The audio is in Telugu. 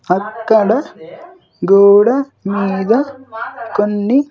అక్కడ గోడ మీద కొన్ని.